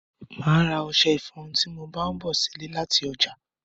Máà ra ọṣẹ ifọrun tí mo bá ń bọ̀ sile láti ọjà